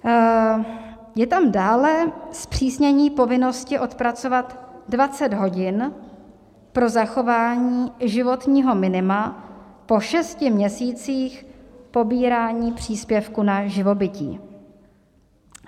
Je tam dále zpřísnění povinnosti odpracovat 20 hodin pro zachování životního minima po šesti měsících pobírání příspěvku na živobytí.